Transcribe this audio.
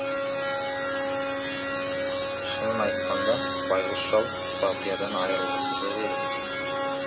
шынын айтқанда байғұс шал балқиядан айрылғысы жоқ еді